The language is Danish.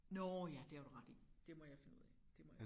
Nårh ja det har du ret i det må jeg finde ud af det må jeg